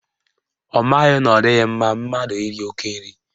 Ọ maghị na ọ dịghị mma mmadụ iri oke nri